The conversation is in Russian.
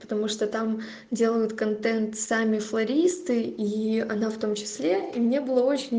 потому что там делают контент сами флористы и она в том числе и мне было очень